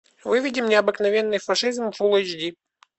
выведи мне обыкновенный фашизм фулл эйч ди